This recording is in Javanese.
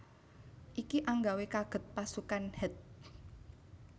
Iki anggawe kaget pasukan Het